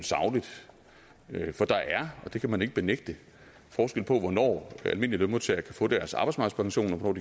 for der er og det kan man ikke benægte forskel på hvornår almindelige lønmodtagere kan få deres arbejdsmarkedspension og